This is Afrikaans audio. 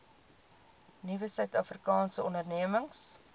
nuwe suidafrikaanse ondernemings